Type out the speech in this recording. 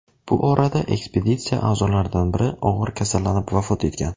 Bu orada ekspeditsiya a’zolaridan biri og‘ir kasallanib, vafot etgan.